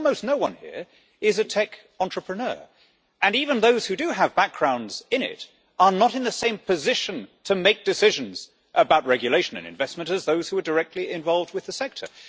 But almost no one here is a tech entrepreneur and even those who do have backgrounds in it are not in the same position to make decisions about regulation and investment as those who are directly involved with the sector.